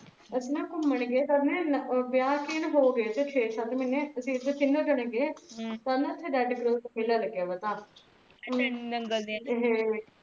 ਅਸੀਂ ਨ ਘੁਮੰਨ ਗਏ ਇਹਦੇ ਵਿਆਹ ਨੂ ਹੋ ਗਏ ਥੈ ਸ਼ੇ ਸਤ ਮਹੀਨੇ ਅਸੀਂ ਤੀਨੋ ਜਣੇ ਗਏ ਓਹਥੇ ਨਾ red cross ਮੇਲਾ ਲਗਿਆ ਹੁਆ ਥਾ